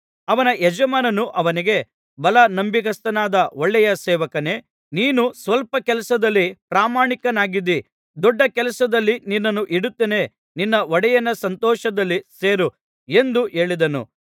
ಅವನ ಯಜಮಾನನು ಅವನಿಗೆ ಭಲಾ ನಂಬಿಗಸ್ತನಾದ ಒಳ್ಳೆಯ ಸೇವಕನೇ ನೀನು ಸ್ವಲ್ಪ ಕೆಲಸದಲ್ಲಿ ಪ್ರಾಮಾಣಿಕನಾಗಿದ್ದಿ ದೊಡ್ಡ ಕೆಲಸದಲ್ಲಿ ನಿನ್ನನ್ನು ಇಡುತ್ತೇನೆ ನಿನ್ನ ಒಡೆಯನ ಸಂತೋಷದಲ್ಲಿ ಸೇರು ಎಂದು ಹೇಳಿದನು